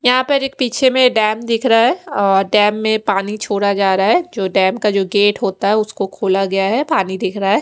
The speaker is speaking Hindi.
यहाँ पर एक पीछे में डेम दिख रहा है और डेम में पानी छोड़ा जा रहा है जो डेम का गेट होता है उसको खोला गया है पानी दिख रहा है।